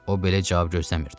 O belə cavab gözləmirdi.